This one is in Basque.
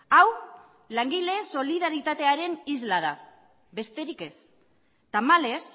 hau langileen solidaritatearen isla da besterik ez tamalez